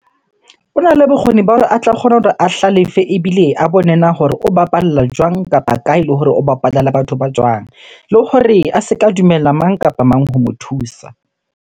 Hona le bokgoni ba hore a tla kgone hore a hlalefe ebile a bone na hore o bapala jwang? Kapa kae? Le hore o bapala le batho ba jwang? Le hore a se ka dumella mang kapa mang ho mo thusa.